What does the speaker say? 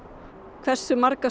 hversu margar